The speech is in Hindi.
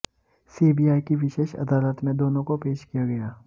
सीबीआई की विशेष अदालत में दोनों को पेश किया गया